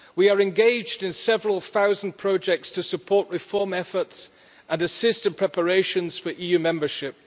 We are engaged in several thousand projects to support reform efforts and assist in preparations for EU membership.